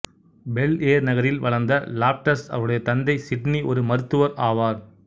bell Air நகரில் வளர்ந்த Loftus அவருடைய தந்தை சிட்னி ஒரு மருத்துவர் ஆவார்